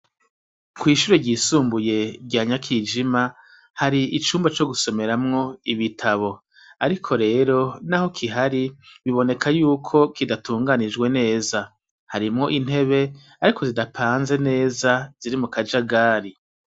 Kwishure ryisumbuye rya nyakijima hari icumba co gusomeramwo ibitabo ariko rero naho kihari biboneka yuko kidatunganijwe neza harimwo intebe ariko zidapanze neza ziri mu Kajagari